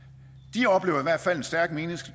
de oplever i hvert fald en stærk